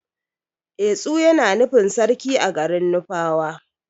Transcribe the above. Etsu Yana nufin sarki a garin nufawa.